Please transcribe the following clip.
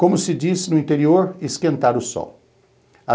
Como se diz no interior, esquentar o sol.